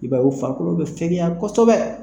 I b'a ye u farikolo bɛ fɛgɛya kosɛbɛ